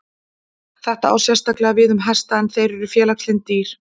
Þetta á sérstaklega við um hesta en þeir eru félagslynd dýr.